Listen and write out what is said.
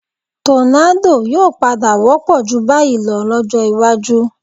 Tọ́ládò yóò padà wọ́pọ̀ ju báyìí lọ lọ́jọ́ iwájú